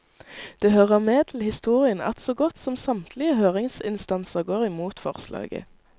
Det hører med til historien at så godt som samtlige høringsinstanser går imot forslaget.